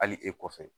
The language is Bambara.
Hali e kɔfɛ